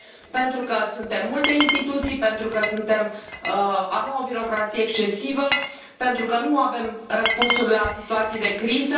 Pentru că suntem multe instituții, pentru că avem o birocrație excesivă, pentru că nu avem răspunsuri la situații de criză.